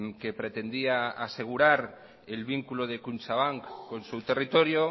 que pretendía asegurar el vínculo de kutxabank con su territorio